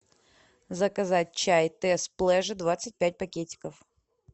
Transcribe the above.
заказать чай тесс плеже двадцать пять пакетиков